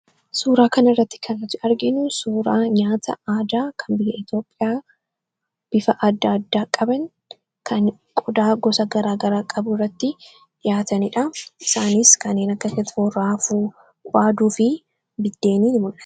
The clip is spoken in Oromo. suuraa kana irratti kanat argenu suuraa nyaata aadaa kan bil eetioophiyaa bifa aada addaa qaban kan qodaa gosa garaagaraa qabu irratti dhiyaataniidha isaanis kaneen akka ketfo raafuwaaduu fi biddeenii mu